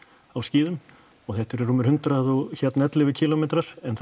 á skíðum og þetta eru rúmir hundrað og ellefu kílómetrar en það